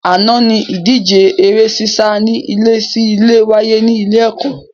Àná ni ìdíje eré sísá ní ilé sí ilé wáyé ní ilé ẹ̀kọ́